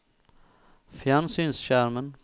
fjernsynsskjermen